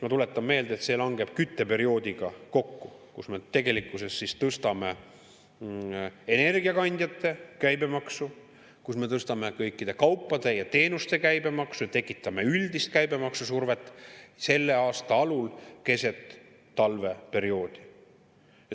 Ma tuletan meelde, see langeb kokku kütteperioodiga, kus me tegelikkuses tõstame energiakandjate käibemaksu, kus me tõstame kõikide kaupade ja teenuste käibemaksu ja tekitame üldist käibemaksu survet selle aasta alul keset talveperioodi.